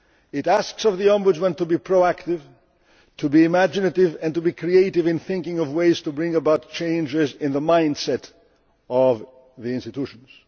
Union. It asks of the Ombudsman to be proactive, to be imaginative and to be creative in thinking of ways to bring about changes in the mindset of the institutions.